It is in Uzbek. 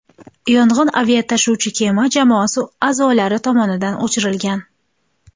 Yong‘in aviatashuvchi kema jamoasi a’zolari tomonidan o‘chirilgan.